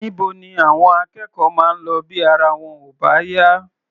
Níbo ni àwọn akẹ́kọ̀ọ́ máa ń lọ bí ara wọn ò bá yá?